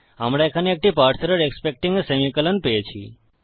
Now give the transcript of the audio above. আমরা এখানে একটি parse error expecting a semicolon পেয়েছি